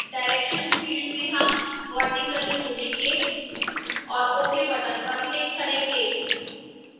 direction field में हम vertically चुनेंगे और ok button पर click करेंगे